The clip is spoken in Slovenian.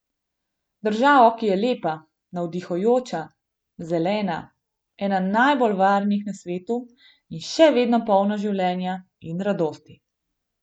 Državo, ki je lepa, navdihujoča, zelena, ena najbolj varnih na svetu in še vedno polna življenja in radosti.